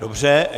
Dobře.